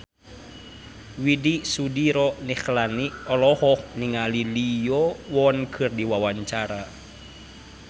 Widy Soediro Nichlany olohok ningali Lee Yo Won keur diwawancara